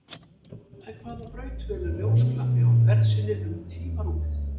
En hvaða braut velur ljósglampi á ferð sinni um tímarúmið?